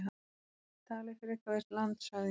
SKÚLI: Talið frekar við landshöfðingjann.